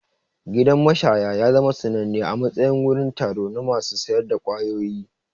Gidan mashaya ya zama sananne a matsayin wurin taro na masu sayar da ƙwayoyi.